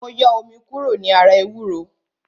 Mo yọ omi kúrò ní ara ewúro